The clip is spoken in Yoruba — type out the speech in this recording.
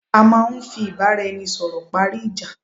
À máà ń fí ìbáraẹnisọ̀rọ̀ parí ìjá